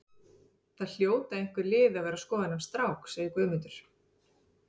Það hljóta einhver lið að vera að skoða þennan strák, segir Guðmundur.